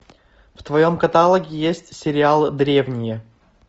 в твоем каталоге есть сериал древние